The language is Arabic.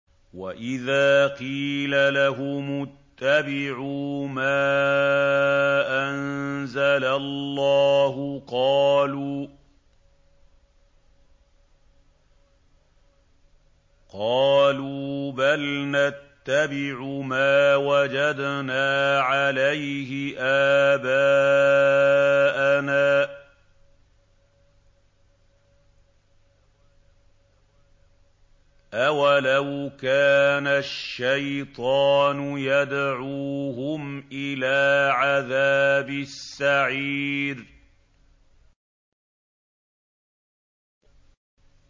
وَإِذَا قِيلَ لَهُمُ اتَّبِعُوا مَا أَنزَلَ اللَّهُ قَالُوا بَلْ نَتَّبِعُ مَا وَجَدْنَا عَلَيْهِ آبَاءَنَا ۚ أَوَلَوْ كَانَ الشَّيْطَانُ يَدْعُوهُمْ إِلَىٰ عَذَابِ السَّعِيرِ